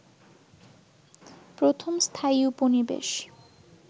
প্রথম স্থায়ী উপনিবেশ